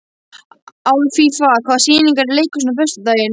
Alfífa, hvaða sýningar eru í leikhúsinu á föstudaginn?